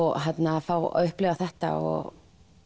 að fá að upplifa þetta og